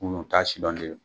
Munnu taa sidɔn le don